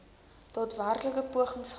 daadwerklike pogings gemaak